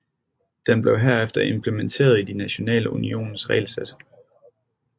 Den blev herefter implementeret i de nationale unioners regelsæt